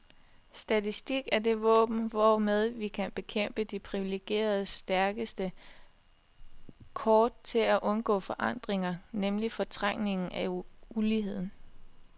Statistik er det våben, hvormed vi kan bekæmpe de priviligeredes stærkeste kort til at undgå forandringer, nemlig fortrængningen af uligheden.